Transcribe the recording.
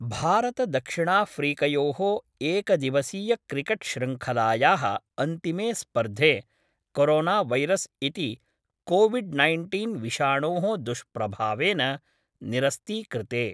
भारतदक्षिणाफ्रीकयोः एकदिवसीयक्रिकेट्शृंखलायाः अन्तिमे स्पर्धे कोरोनावैरस् इति कोविड् नैन्टीन् विषाणोः दुष्प्रभावेन निरस्तीकृते।